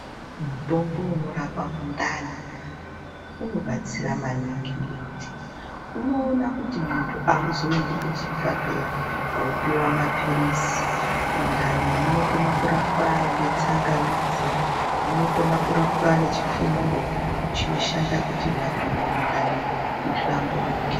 Mutombo unorapa mundani unobatsira maningi. Unoona kuti muntu auzoendi kuchibhedhleya koopiwa mapirizi. Mundani munokona kurapwa ngetsangamidzi; munokona kurapwa nechifumuro, chinoshanda kuti vantu mundani muhlamburike.